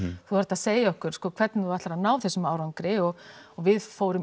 þú þarft að segja okkur hvernig þú ætlar að ná þessum árangri og við fórum